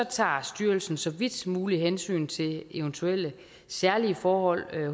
tager styrelsen så vidt muligt hensyn til eventuelle særlige forhold